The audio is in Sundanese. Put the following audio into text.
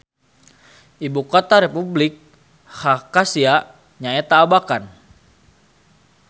Ibu kota Republik Khakassia nyaeta Abakan